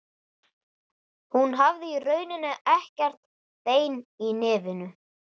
Hún hafði í rauninni ekkert bein í nefinu.